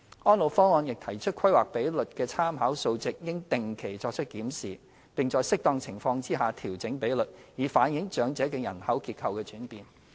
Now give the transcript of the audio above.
《安老方案》亦提出規劃比率的參考數值應定期作出檢視，並在適當情況下調整比率，以反映長者的人口結構轉變。